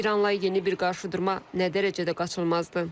İranla yeni bir qarşıdurma nə dərəcədə qaçılmazdır?